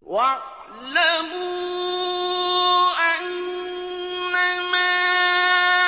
وَاعْلَمُوا أَنَّمَا